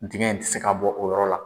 Dingɛ in ti se ka bɔ o yɔrɔ la.